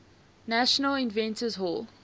national inventors hall